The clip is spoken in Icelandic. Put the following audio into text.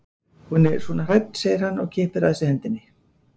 Hún er svona hrædd segir hann og kippir að sér hendinni.